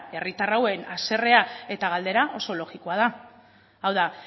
herritar hauen haserrea eta galdera oso logikoa da hau da